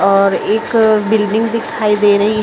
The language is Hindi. और एक बिल्डिंग दिखाई दे रही --